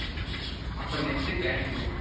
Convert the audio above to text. அப்பறம் next கேன்டீன்னு